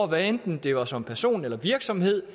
hvad enten det var som person eller virksomhed